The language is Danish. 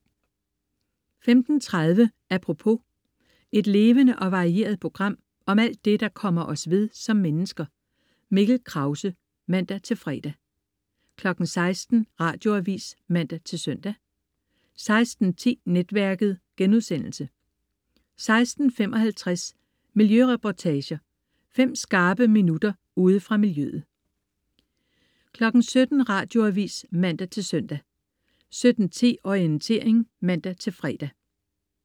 15.30 Apropos. Et levende og varieret program om alt det, der kommer os ved som mennesker. Mikkel Krause (man-fre) 16.00 Radioavis (man-søn) 16.10 Netværket* 16.55 Miljøreportager. Fem skarpe minutter ude fra miljøet 17.00 Radioavis (man-søn) 17.10 Orientering (man-fre)